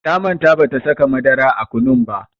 Ta manta bata saka madara a kunun ba.